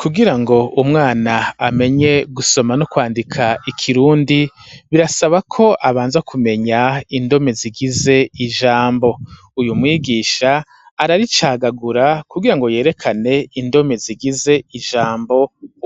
Kugirango umwana amenye gusoma no kwandika ikirundi birasaba ko abanza kumenya indome zigize ijambo uyu mwigisha ara ricagagura kugirango yerekane indome zigize ijambo